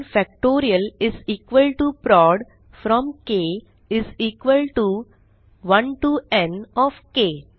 n factorial is equal to prod from k 1 to n of K